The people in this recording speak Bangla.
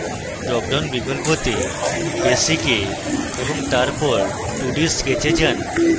drop down বিকল্পতে basic এ এবং তারপর 2d sketch এ যান